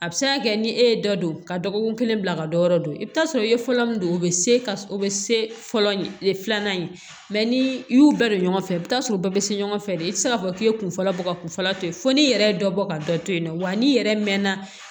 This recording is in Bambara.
A bɛ se ka kɛ ni e ye dɔ don ka dɔgɔkun kelen bila ka dɔ yɔrɔ dɔn i bɛ t'a sɔrɔ i ye fɔlɔ min don o bɛ se ka o bɛ se fɔlɔ filanan ye ni i y'u bɛɛ don ɲɔgɔn fɛ i bɛ t'a sɔrɔ bɛɛ bɛ se ɲɔgɔn fɛ de i tɛ se k'a fɔ k'i ye kun fɔlɔ bɔ ka kun fɔlɔ to yen fo n'i yɛrɛ ye dɔ bɔ ka dɔ to yen nɔ wa n'i yɛrɛ mɛnna